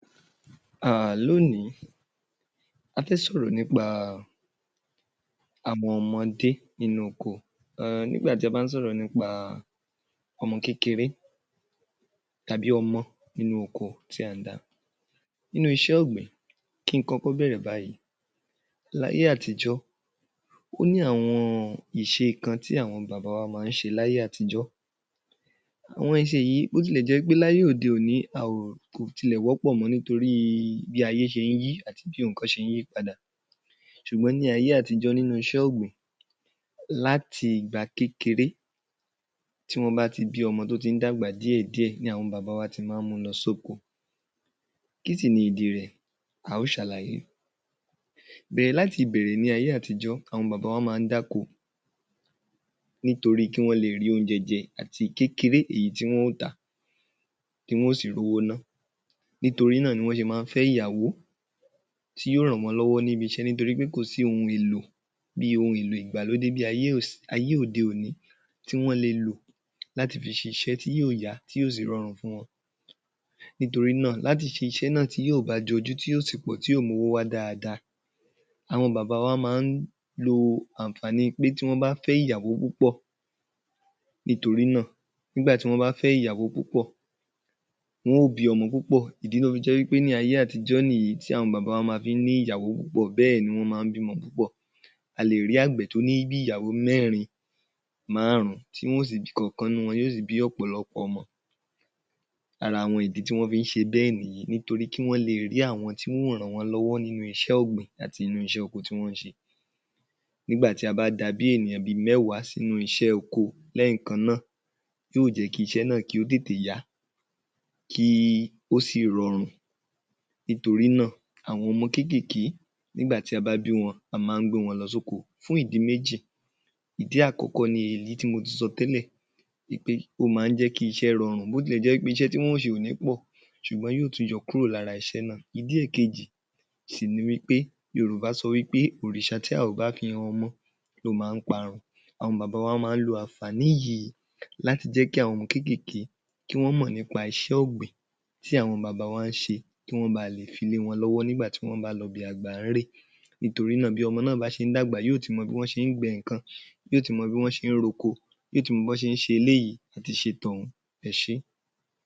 um L’ónií, a fẹ́ sọ̀rọ̀ nípa àwọn ọmọdé nínú oko. um Nígbà tí a bá ń sọ̀rọ̀ nípa ọmọ kékeré, tàbí omo nínú oko tí a ń dá, nínú iṣẹ́́ ọ̀gbìn, kí n kọ́kọ́ bẹ̀rẹ̀ báyìí. L’áyé àtijọ́, ó ní àwọn ìṣe kan tí àwọn bàbá wa má ń ṣe l’áyé àtijọ́. Àwọn ìṣe yìí, bí ó ti lẹ̀ jẹ́ pé l’aye òde òni, a ò kò tilẹ̀ wọ́pọ̀ mọ́ nítorí bí ayé ṣe ń yí àti bí nǹkan ṣe ń yí padà. Ṣùgbón ní ayé àtijọ́ nínú iṣẹ́ ọgbin, láti ìgbà kékeré tí wọ́n bá ti bí ọmọ tó ti ń dàgbà díẹ̀ diẹ̀, ni awon bàbá wa ti má ń mu lọ s’óko. Kí sì ni ìdí rẹ̀? A ó ṣ’àlàyé. Bẹ̀rẹ̀ láti ìbẹ̀rẹ̀ ní ayé àtijọ́, àwọn baba wa má ń dáko nítórí kí wọ́n lé rí óúnjẹ jẹ àti kékeré èyí tí wọn óò tà, kí wọ́n ó sì r’owo ná. Nítorí náà ni wọ́n ṣe má ń fẹ́ ìyàwó tí ó ràn wọ́n lọ́wọ́ níbi iṣẹ́ nítorí pé kò sí ohun èlò bí i ohun èlò ìgbàlódé bí i ayé òde òní tí wọ́n le lò láti fi ṣiṣé ti yóò yá, tí yóò sì rọrùn fún wọn. Nítorí náà, láti ṣiṣẹ́ naà, ti yóò bá jọjú tí yó sì pọ̀, tí ó mówó wá dáadáa, àwọn bàbá wa má ń lo àǹfààní pé tí wọ́n bá fẹ́ ìyàwó púpọ̀, nítorí náà nígbàtí wọ́n bá fẹ́ ìyàwó púpọ̀, wọ́n ó bí ọmọ púpọ̀. Ìdí tó fi jé wí pé ní ayé àtijọ́ nìyí ti àwọn bàbá wa fi má ń ní ìyàwó púpọ̀ bẹ́ẹ̀ ni wọ́n má ń bímọ púpọ̀. A lẹ̀ rí àgbẹ̀ tó ní bí i ìyàwó mẹ́rin, márun-ún tí wọ́n ó si bí... tí ìkọ̀kan nínú wọn ó sì bí ọ̀pọ̀lọpọ̀ ọmọ. Ara àwọn ìdí tí wọ́n fi ń ṣe béẹ̀ nìyí nítorí kí wọ́n leè rí àwọn tí wọ́n ó ràn wọ́n lọ́wọ́ nínú iṣẹ́ ọ̀gbìn àti nínú iṣẹ́ oko tí wọ́n ń ṣe. Nígbà tí a bá da bí i ènìyàn bíi mẹ́wa s’ínú iṣẹ́ oko lẹ́ẹ̀kannáà, yóò jẹ́ ki iṣẹ́ náà kí ó tètè yá, kí ó sì rọrùn. Nítorí náà, àwọn ọmọ kékèké, nígbà tí a bá bí wọn,a má ń gbé wọn lọ s’óko fún ìdí méji. Ìdi àkọ́kọ́ ni èyí tí mo ti sọ tẹ́lẹ̀ wí pé ó má ń jẹ́ kí ise rorun, bó ti lẹ̀ jẹ́ pé iṣẹ́ tí wọ́n ó ṣe ò ní pọ̀ ṣùgbọ́n yóó tún yọ kúrò l’ára iṣẹ́ náà. Ìdí ẹ̀kejì sì ni wí pé ‘Yorùbá sọ wípé òrìṣà tí a ò bá fi han ọmọ ló má ń parun’. Àwọn bàbá wa má ń ló àǹfààní yìí láti jẹ́ kí àwọn ọmọ kékèké kí wọ́n mòn nípa iṣẹ́ ọ̀gbìn tí àwọn bàbá wa ń ṣe kí wón ba lè fi lé wọn lọ́wọ́ nígbà tí wọ́n bá lọ ibi àgbà ’re. Nítorí náà, bí ọmọ náà bá ṣe ń dagba, yóó ti mọ bí wọ́n ṣe ń gbin nǹkan. Yóó ti mọ bí wọ́n ṣe ń r’oko, yóó ti mọ bí wọ́n ṣe ń ṣe eléyìí, àti ṣe t’ọ̀ún. Ẹ ṣé.